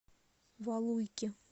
валуйки